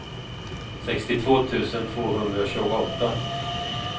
sextiotvå tusen tvåhundratjugoåtta